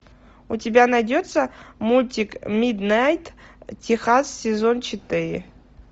у тебя найдется мультик миднайт техас сезон четыре